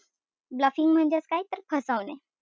Bluffing म्हणजेच काय? तर फसवणे.